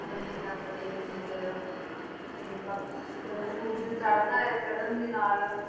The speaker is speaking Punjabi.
ਮੰਨਿਆ ਜਾਂਦਾ ਜੋ ਇਸ ਮੰਦਿਰ ਦਾ ਤੇ ਬਾਕੀ ਜਦੋਂ ਸੂਰਜ ਚੜ੍ਹਦਾ ਹੈ ਚੜ੍ਹਨ ਦੇ ਨਾਲ